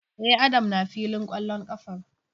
E, Adam na filin kwallon kafar.